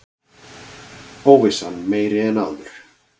Óvissan meiri en áður